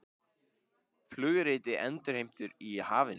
Flugriti endurheimtur í hafinu